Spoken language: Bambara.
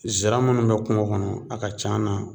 Zira minnu bɛ kungo kɔnɔ a ka c'an na